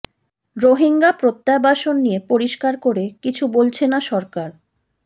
রোহিঙ্গা প্রত্যাবাসন নিয়ে পরিষ্কার করে কিছু বলছে না সরকার